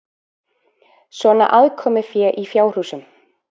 Svona aðkomufé í fjárhúsunum?